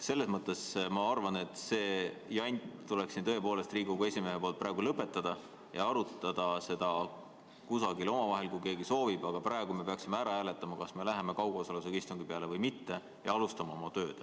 Ma arvan, et Riigikogu esimehel tuleks see jant siin tõepoolest praegu lõpetada ja arutada seda kusagil omavahel, kui keegi soovib, aga praegu me peaksime ära hääletama, kas me läheme üle kaugosalusega istungile või mitte, ja alustama oma tööd.